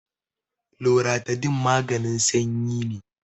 loratadine maganin sanyi ne